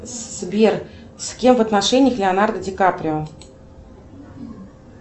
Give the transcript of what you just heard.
сбер с кем в отношениях леонардо ди каприо